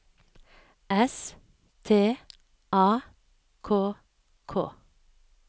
S T A K K